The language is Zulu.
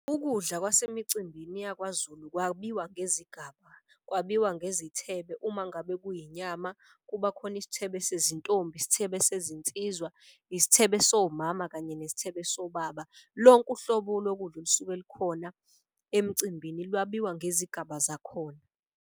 Ukudla kwase micimbini yakwaZulu kwabiwa ngezigaba. Kwabiwa ngezithebe uma ngabe kuyinyama kuba khona isithebe sezintombi, sithembe sizinsizwa, isithebe somama, kanye nesithebe sobaba. Lonke uhlobo lokudla olusuke lukhona emcimbini lwabiwa ngezigaba zakhona.